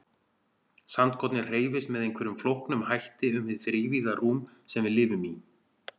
Sandkornið hreyfist með einhverjum flóknum hætti um hið þrívíða rúm sem við lifum í.